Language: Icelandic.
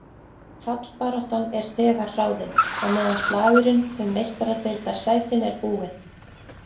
Fallbaráttan er þegar ráðin, á meðan slagurinn um Meistaradeildarsætin er búinn.